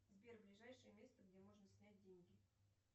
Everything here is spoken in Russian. сбер ближайшее место где можно снять деньги